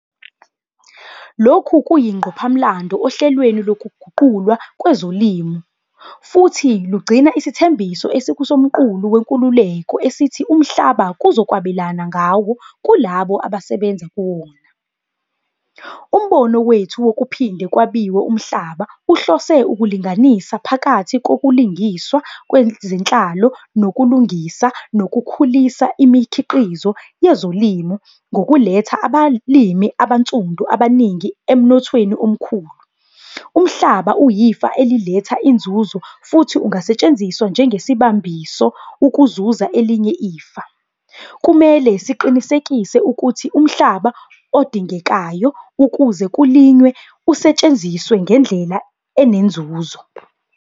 Lokhu kuyingqophamlando ohlelweni lokuguqulwa kwezolimo, futhi lugcina isithembiso esikuSomqulu Wenkululeko esithi umhlaba kuzokwabelwana ngawo kulabo abasebenza kuwona. Umbono wethu wokuphinde kwabiwe umhlaba uhlose ukulinganisa phakathi kobulungiswa kwezenhlalo nokulungisa, nokukhulisa imikhiqizo yezolimo ngokuletha abalimi abansundu abaningi emnothweni omkhulu. Umhlaba uyifa eliletha inzuzo futhi ungasetshenziswa njengesibambiso ukuzuza elinye ifa. Kumele siqinisekise ukuthi umhlaba odingekayo ukuze kulinywe usetshenziswa ngendlela enenzuzo.